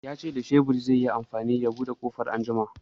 Ya ce da shebur zai yi amfani ya buɗe ƙofan anjima